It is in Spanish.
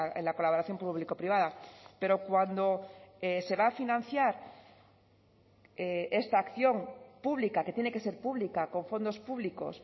en la colaboración público privada pero cuando se va a financiar esta acción pública que tiene que ser pública con fondos públicos